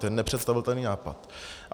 To je nepředstavitelný nápad.